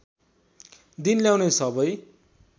दिन ल्याउने सबै